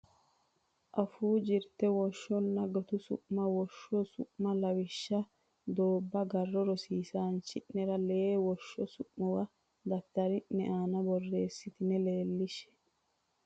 Afuu Jirte Woshshonna Gutu Su ma Woshsho su ma Lawishsha Doobba Garro Rosiisaanchine cho nera lee woshsho su muwa daftari ne aana borreessitine leellishshe.